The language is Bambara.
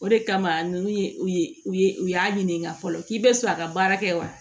O de kama nunnu ye u ye u y'a ɲininka fɔlɔ k'i bɛ fɛ a ka baara kɛ wa